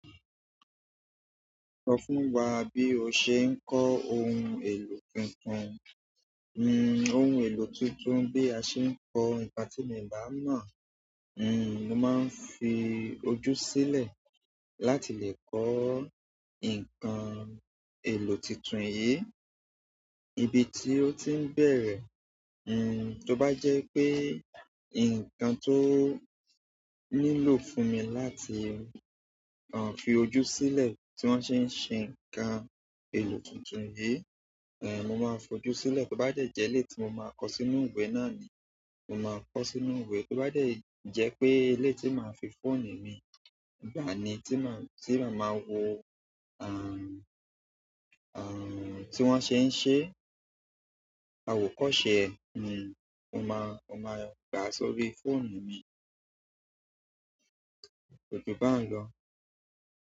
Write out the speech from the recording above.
Sọ fún wa bí o ṣe ń kọ ohun èlò tuntun, ohun èlò tuntun bí a ṣe ń kọ, ìpá tí mi bá ń mọ̀, mo máa ń fi ojú sílẹ̀ láti lè kọ nǹkan èlò tuntun yìí, ibi tí ó ti ń bẹ̀rẹ̀, hmm, tó bá jẹ́ pé nǹkan tó nílò fún mi láti, àń, fi ojú sílẹ̀ tí wọ́n ṣe ń ṣe ǹkan èlò tun tun yìí, èh, mo máa fojú sílẹ̀. Tó bá dẹ̀ jẹ́ elè yi tí mo máa kọ sínú ìwé náà ni, mo máa kọ sínú ìwé. Tó bá dẹ̀ jẹ́ pé ilé tí màá fi fóònù mi, ìgbà ni tí màá, tí màá máa wo, àń, àń, tí wọ́n ṣe ń ṣe, àwòkọ́ṣe, hmm, mo máa, mo máa gbà á sórí fóònù mu. Òjò bá ń lọ.